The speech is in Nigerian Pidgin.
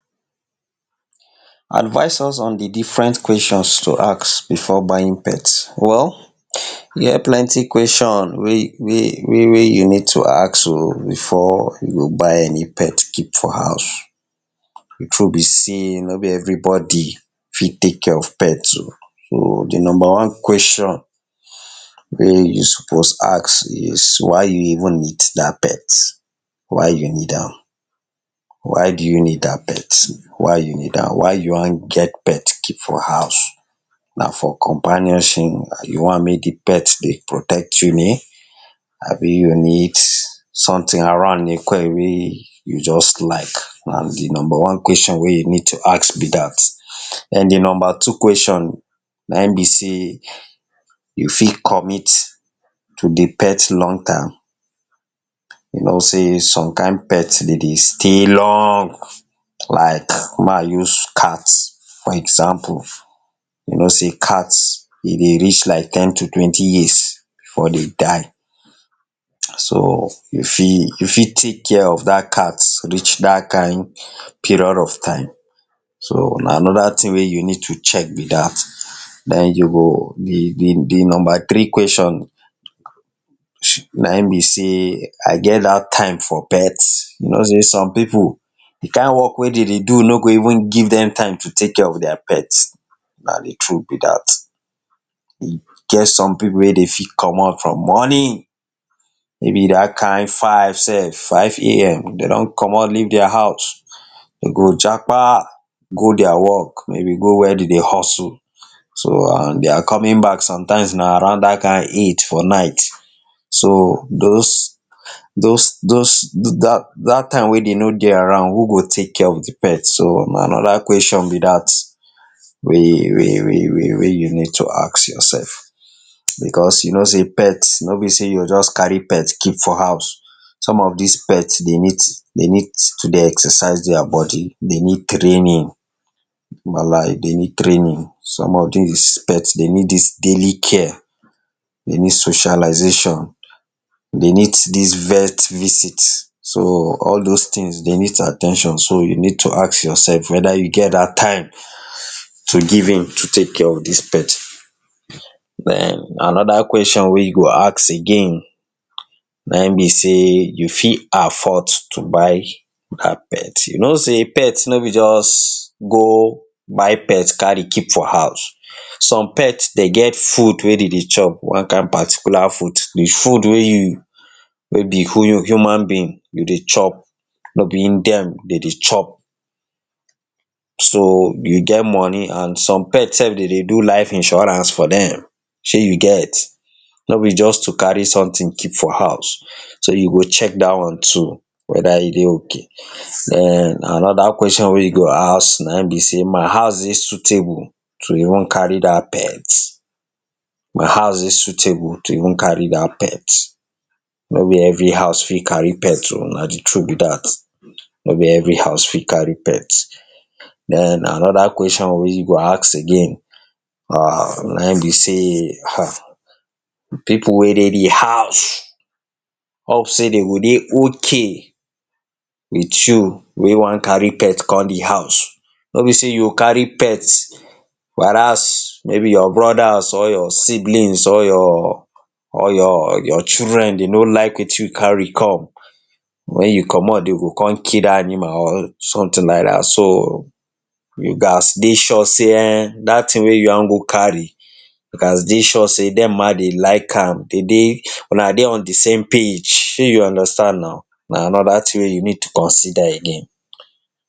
Advise us on di different questions to ask before buying pet. Well, e get plenty question wey wey wey wey you need to ask o, before you go buy any pet keep for house. Di true be sey no be everybody fit take care of pet um so di number one question wey you suppose ask is why you even need dat pet, why you need am? Why do you need dat pet? Why you need am? Why you wan get pet keep for house? Na for companionship? You want mek di pet dey protect you ni? abi you need sometin around ni wey just like, na di number one question wey you need to ask be dat. Ehn, di number two question na ehm be sey, you fit commit to di pet long term? You know sey some kind pet den dey stay long like ma use cat for example, you know sey cat, e dey reach like ten to twenty years before den die, so, you fit, you fit take care of dat cat reach dat kind period of time? So, na anoda tin wey you need to check be dat. Den, you go, di di di number three question na[um]be sey, I get dat time for pet? You know sey, some pipu di kind work wey den dey do no go even give dem time to take care of dia pet, na di true be dat. E get some pipu wey dey fit comot from morning, maybe dat kind five sef, five a.m, den don comot leave dia house, den go japa go dia work, maybe go where den dey hustle, so, and dia coming back sometimes na around dat kind eight for night, so, those those those da da dat time wey den no dey around, who go take care of di pet, so na anoda question be dat wey wey wey wey wey you need to ask yourself, because you know sey pet, no be sey you go just carry pet keep for house, some of dis pet dey need, dey need to dey exercise dia body, dey need training,, dey need training. Some of dis pet dey need dis daily care, dey need socialization, dey need dis vet visit, so all those tins, dey need at ten tion, so you need to ask yourself weda you get dat time to give in to take care of dis pet. Den, anoda question wey you go ask again na ehm be sey, you fit afford to buy dat pet? You know sey pet no be just go buy pet carry keep for house, some pet den get food wey den dey chop, one kind particular food, di food wey you, wey be who hu human being, you dey chop no be ehm dem dey chop. So, you get money, and some pet sef den dey do life insurance for dem, shey you get, no be just to carry sometin keep for house, so you go check dat one too, weda you dey ok. Den, anoda question wey you go ask na[um]be sey, my house dey suitable to even carry dat pet? My house dey suitable to even carry dat pet? No be every house fit carry pet o, na di true be dat, no be every house fit carry pet. Den, anoda question wey you go ask again, um na ehm be sey, em pipu wey dey di house hope sey dey go dey ok wit you wey wan carry pet kon dey house, no be sey you go carry pet, whereas, maybe your brodas or your siblings, or your or your your children dey no like wetin you carry come, when you comot den go kon kill dat animal or sometin like dat, so, you gats dey sure sey, ehn, dat tin wey you wan go carry, you gats dey sure sey dem ma dey like am, den dey, una dey on di same page, shey you understand naw? Na anoda tin wey you need to consider again.